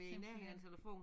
Simpelthen